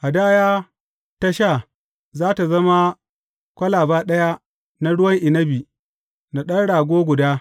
Hadaya ta sha, za tă zama kwalaba ɗaya na ruwan inabi, da ɗan rago guda.